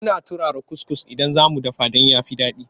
Muna turara kuskus idan za mu dafa don ya fi daɗi.